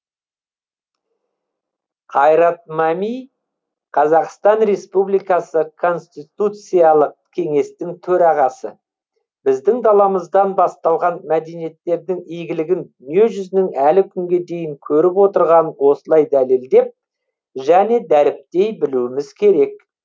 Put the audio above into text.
қайрат мәми қазақстан республикасы конституциялық кеңестің төрағасы біздің даламыздан басталған мәдениеттердің игілігін дүниежүзінің әлі күнге дейін көріп отырғанын осылай дәлелдеп және дәріптей білуіміз керек